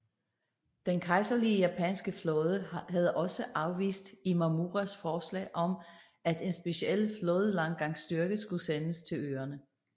Den kejserlige japanske flåde havde også afvist Imamuras forslag om at en special flådelandgangsstyrke skulle sendes til øerne